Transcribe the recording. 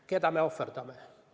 Keda me ohverdame?